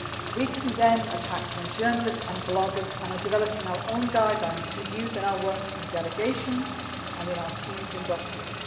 We condemn attacks on journalists and bloggers and are developing our own guidelines to use in our work in delegations and in our teams in Brussels.